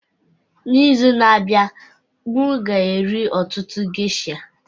N'izu na-abịa, m ga-eri ọtụtụ geisha